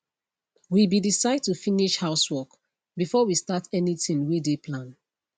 we be decide to finish housework before we start anything wey de plan